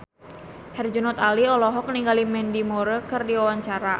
Herjunot Ali olohok ningali Mandy Moore keur diwawancara